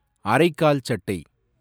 அரைக்கால் சட்டை